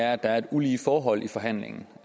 er at der er et ulige forhold i forhandlingen